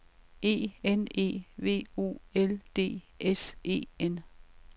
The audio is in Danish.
E N E V O L D S E N